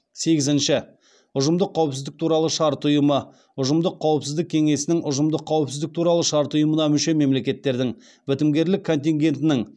сегізінші ұжымдық қауіпсіздік туралы шарт ұйымы ұжымдық қауіпсіздік кеңесінің ұжымдық қауіпсіздік туралы шарт ұйымына мүше мемлекеттердің бітімгерлік контингентінің